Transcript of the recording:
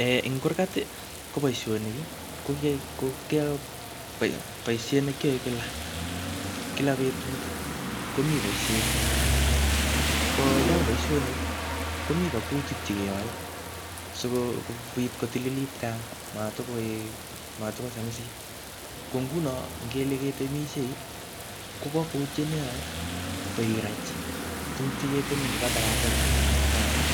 um Ing kurgat, ko boisonik ko boisiet ne kiae kila. Kila betut komii boisiet eng kurgat. Ko yachang boisonik, komi kakutik che keyae sikobit kotililit, gaa matkoek matkosamisit. Ko nguno ngele ketemesiei, ko kabwautiet ne iyae, ko irach tuguk che keteme ngoka takatakek anan ko ka chafuk.